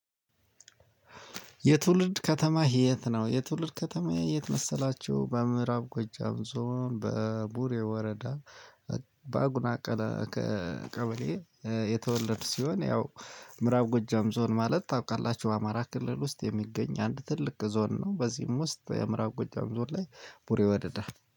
የትውልድ ከተማህ የትነው? የትውልድ ከተማዬ የት መሰላችሁ? በምእራብ ጎጃም ዞን በቡሬ ወረዳ። በአጉና ቀበሌ። የተወለድሁ ሲሆን ያው ምዕራብ ጎጃም ዞን ማለት ታውቃላችሁ አማራ ክልል ውስጥ የሚገኝ አንድ ትልቅ ዞን ነው። በዚህም ውስጥ የምእራብ ጎጃም ዞን ላይ ቡሬ ወረዳ